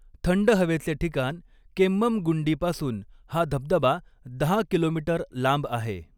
थंड हवेचे ठिकान केम्मंगुंडीपासून हा धबधबा दहा किलोमीटर लांब आहे.